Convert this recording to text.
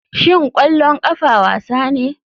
Shin ƙwallon ƙafa wasa ne?